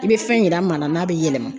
I bɛ fɛn yira maa la n'a bɛ yɛlɛma.